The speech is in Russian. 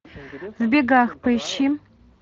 в бегах поищи